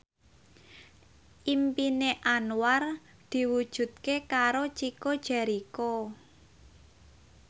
impine Anwar diwujudke karo Chico Jericho